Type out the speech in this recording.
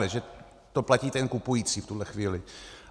Takhle, že to platí ten kupující v tuhle chvíli.